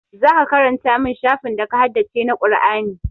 Zaka karanta min shafin da ka haddace na Qur'ani